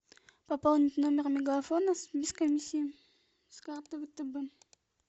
пополнить номер мегафона без комиссии с карты втб